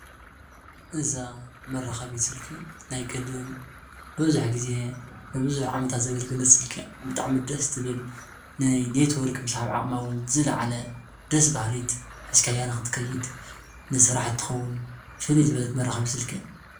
እዚ ግዜ ዝወሰደት ስልኪ ኮይና ኔት ወርክ ትሰርሕን ደስበሃሊትን ቀላልን እያ።